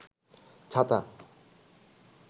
ছাতা